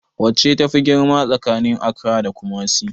Wacce tafi girma tsakanin Accra da Kumasi?